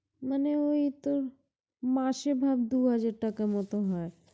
মানে ঐ তোর, মাসে ভাব দুই হাজার টাকার মত হয়।